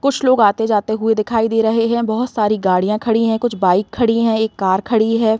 कुछ लोग आते जाते हुए दिखाई दे रहे हैं। बहोत सारी गाड़ियां खड़ी हैं एक बाइक खड़ी है एक कार खड़ी है।